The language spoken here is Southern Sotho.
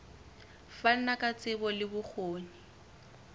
fana ka tsebo le bokgoni